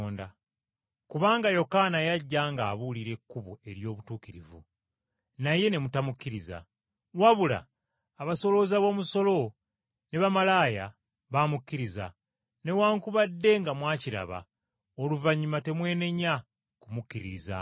Kubanga Yokaana yajja ng’abuulira ekkubo ery’obutuukirivu naye ne mutamukkiriza. Wabula abasolooza b’omusolo ne bamalaaya baamukkiriza, newaakubadde nga mwakiraba, oluvannyuma temwenenya kumukkiririzaamu.”